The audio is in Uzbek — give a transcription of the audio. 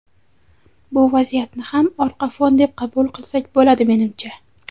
Bu vaziyatni ham orqa fon deb qabul qilsak bo‘ladi menimcha.